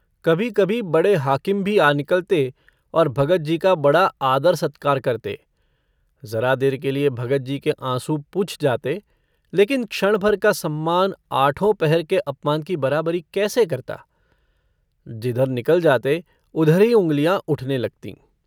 कभी कभी बड़े हाकिम भी आ निकलते और भगतजी का बड़ा आदर-सत्कार करते। ज़रा देर के लिए भगतजी के आँसू पुँछ जाते लेकिन क्षण-भर का सम्मान आठों पहर के अपमान की बराबरी कैसे करता। जिधर निकल जाते उधर ही उँगलियाँ उठने लगतीं।